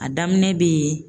A daminɛ bɛ yen